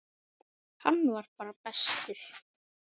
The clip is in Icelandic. Hann var bara bestur.